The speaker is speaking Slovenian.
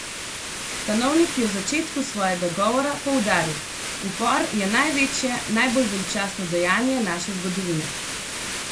Stanovnik je v začetku svojega govora poudaril: 'Upor je največje, najbolj veličastno dejanje naše zgodovine.